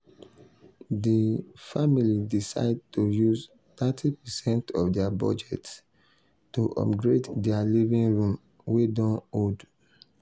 di um family decide to use thirty percent of dia budget to upgrade dia living room wey don old.